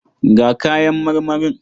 Ga kayan marmarin.